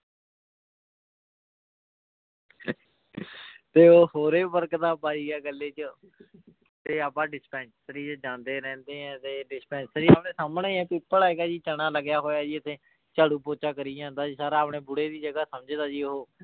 ਤੇ ਉਹ ਹੋਰ ਹੀ ਬਰਕਤਾਂ ਪਾਈ ਗਿਆ ਗੱਲੇ ਚ ਤੇ ਆਪਾਂ dispensary ਚ ਜਾਂਦੇ ਰਹਿੰਦੇ ਹਾਂ ਤੇ dispensary ਉਹਦੇ ਸਾਹਮਣੇ ਹੈ ਪਿੱਪਲ ਹੈਗਾ ਜੀ ਚਣਾ ਲੱਗਿਆ ਹੋਇਆ ਜੀ ਉੱਥੇ ਝਾੜੂ ਪੋਚਾ ਕਰੀ ਜਾਂਦਾ ਜੀ ਸਾਰਾ ਆਪਣਾ ਬੁੜੇ ਦੀ ਜਗ੍ਹਾ ਸਮਝਦਾ ਜੀ ਉਹ।